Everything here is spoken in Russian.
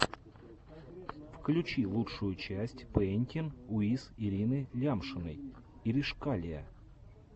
включи лучшую часть пэинтин уиз ирины лямшиной иришкалиа